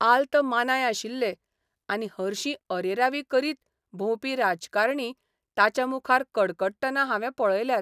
आल्त मानाय आशिल्ले आनी हरशीं अरेरावी करीत भोंवपी राजकारणी ताच्यामुखार कडकडटना हावें पळयल्यात.